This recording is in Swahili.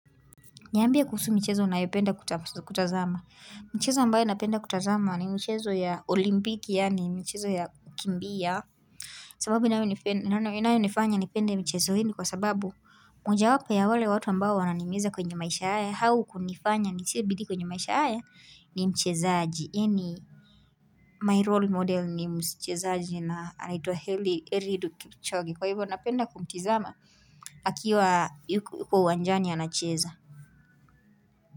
Niambie kuhusu michezo unayopenda kutazama. Mchezo ambayo napenda kutazama ni michezo ya olimpiki yani mchezo ya kukimbia. Sababu inayo nifanya nipende michezo hii nikwa sababu mojawapo ya wale watu ambayo wananihimiza kwenye maisha haya au kunifanya nitie bidii kwenye maisha haya ni mchezaaji. Ini my role model ni mchezaaji na anaitwa Eliud Kipchoge. Kwa hivyo napenda kumtizama akiwa yuko uwanjani anacheza.